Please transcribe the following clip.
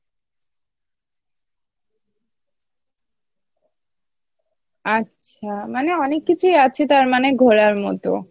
আচ্ছা মানে অনেক কিছুই আছে তারমানে ঘোরার মতো